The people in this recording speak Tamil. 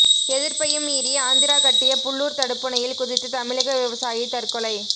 எதிர்ப்பையும் மீறி ஆந்திரா கட்டிய புல்லூர் தடுப்பணையில் குதித்து தமிழக விவசாயி தற்கொலை